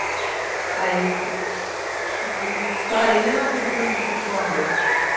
Aí, parei mesmo assim em cima do cipó ambé.